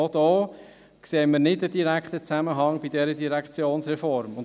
Auch hier sehen wir bei dieser Direktionsreform keinen direkten Zusammenhang.